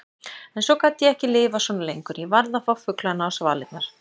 En svo gat ég ekki lifað svona lengur, ég varð að fá fuglana á svalirnar.